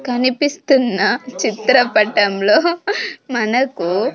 కనిపిస్తున్న చిత్రపటంలో మనకు --